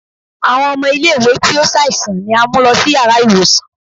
Awọn ọmọ ile-iwe ti o ṣaisan ni a mu lọ si yara iwosàn